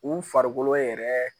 U farikolo yɛrɛ